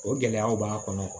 O gɛlɛyaw b'a kɔnɔ